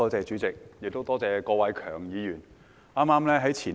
多謝主席，亦多謝郭偉强議員。